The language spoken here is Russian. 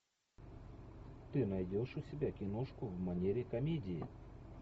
ты найдешь у себя киношку в манере комедии